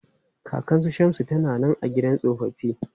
Kakan su Shamsu ta na nan a gidan tsofaffi.